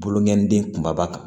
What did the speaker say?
Boloŋɔniden kumaba kan